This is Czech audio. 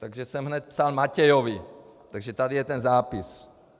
Takže jsem hned psal Matejovi, takže tady je ten zápis.